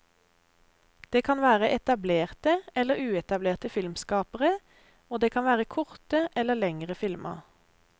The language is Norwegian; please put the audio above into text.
Det kan være etablerte eller uetablerte filmskapere, og det kan være korte eller lengere filmer.